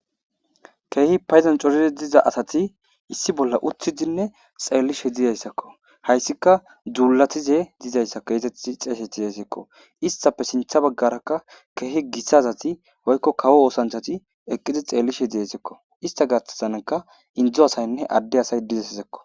keehi paydan coride diza asati issi bolla uthidinne xeellishe dizayssakko hayssika dzuulatize dizayssakko eezeti xeesetizesekko istape sintha baggarakka keehi gissazati woykko kawo oosanchati eqqidi xeellishe deesekko ista gatasanka indzo asaynne adde asay dizesisekko